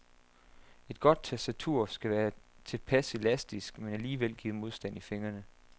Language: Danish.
Et godt tastatur skal være tilpas elastisk, men alligevel give modstand i fingrene.